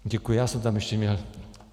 Děkuji, já jsem tam ještě měl...